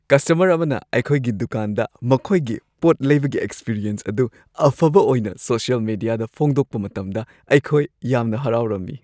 customer ꯑꯃꯅ ꯑꯩꯈꯣꯏꯒꯤ ꯗꯨꯀꯥꯟꯗ ꯃꯈꯣꯏꯒꯤ ꯄꯣꯠ ꯂꯩꯕꯒꯤ ꯑꯦꯛꯁꯄꯔꯤꯌꯦꯟꯁ ꯑꯗꯨ ꯑꯐꯕ ꯑꯣꯏꯅ ꯁꯣꯁꯤꯌꯦꯜ ꯃꯦꯗꯤꯌꯥꯗ ꯐꯣꯡꯗꯣꯛꯄ ꯃꯇꯝꯗ ꯑꯩꯈꯣꯏ ꯌꯥꯝꯅ ꯍꯔꯥꯎꯔꯝꯃꯤ꯫​